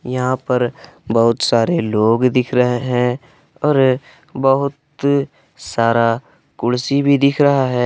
यहां पर बहुत सारे लोग दिख रहे हैं और बहुत सारा कुर्सी भी दिख रहा है।